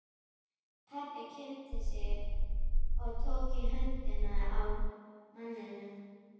Pabbi kynnti sig og tók í höndina á manninum.